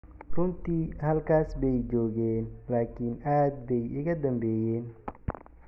runtii, halkaas bay joogeen-laakin aad bay iga danbeeyeen.